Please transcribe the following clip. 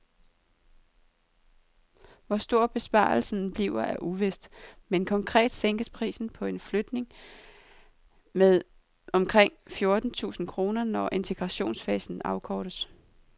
Hvor stor besparelsen bliver er uvist, men konkret sænkes prisen på en flygtning med omkring fjorten tusind kroner, når integrationsfasen afkortes.